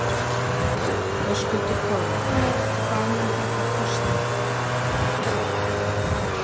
Höskuldur Kári: Hvað mun þetta kosta?